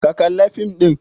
Ka kalla fim ɗin!